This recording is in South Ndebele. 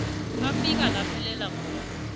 afika naphelela khona